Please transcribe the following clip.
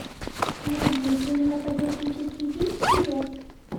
найди кинематографический фильм телец